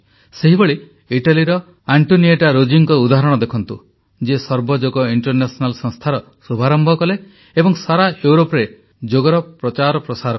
ସେହିଭଳି ଇଟାଲୀର ଆଂଟୋନିଟା ରୋଜିଙ୍କ ଉଦାହରଣ ଦେଖନ୍ତୁ ଯିଏ ସର୍ବଯୋଗ ଇଂଟରନ୍ୟାସନାଲ୍ ସଂସ୍ଥାର ଶୁଭାରମ୍ଭ କଲେ ଏବଂ ସାରା ୟୁରୋପରେ ଯୋଗର ପ୍ରଚାର ପ୍ରସାର କଲେ